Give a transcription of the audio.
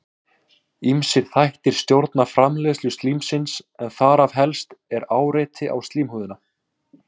ýmsir þættir stjórna framleiðslu slímsins en þar helst er áreiti á slímhúðina